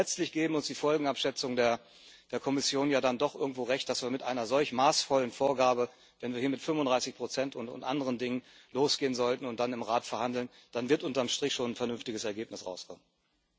Und letztlich geben uns die Folgenabschätzungen der Kommission ja dann doch irgendwo Recht, dass bei einer solch maßvollen Vorgabe, wenn wir hier mit 35 und anderen Dingen losgehen sollten und dann im Rat verhandeln, unterm Strich schon ein vernünftiges Ergebnis herauskommen wird.